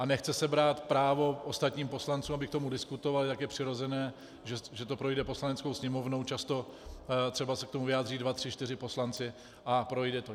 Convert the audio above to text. A nechce se brát právo ostatním poslancům, aby k tomu diskutovali, tak je přirozené, že to projde Poslaneckou sněmovnou, často třeba se k tomu vyjádří dva, tři, čtyři poslanci a projde to.